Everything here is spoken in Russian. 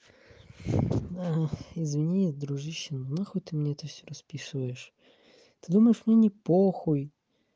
ага извини дружище но нахуй ты мне всё это расписываешь ты думаешь мне не похуй